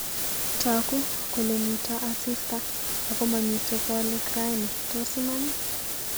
Tagu kole mito asista agomamiten bolik raini tos Iman